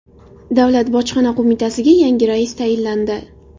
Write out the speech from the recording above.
Davlat bojxona qo‘mitasiga yangi rais tayinlandi.